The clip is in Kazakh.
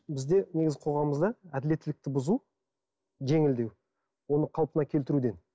бізде негізі қоғамымызда әділеттілікті бұзу жеңілдеу оны қалпына келтіруден